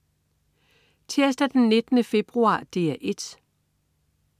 Tirsdag den 19. februar - DR 1: